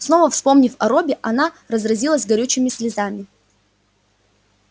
снова вспомнив о робби она разразилась горючими слезами